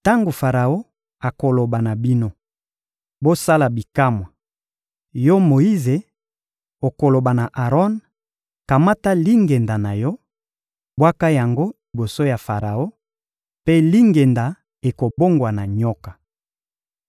«Tango Faraon akoloba na bino: ‹Bosala bikamwa,› yo Moyize, okoloba na Aron: ‹Kamata lingenda na yo, bwaka yango liboso ya Faraon,› mpe lingenda ekobongwana nyoka.»